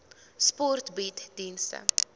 sport bied dienste